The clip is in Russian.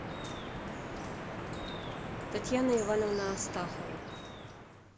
татьяна ивановна астахова